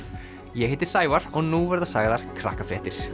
ég heiti Sævar og nú verða sagðar